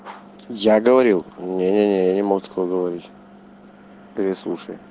я говорил не не не я не мог такого говорить переслушай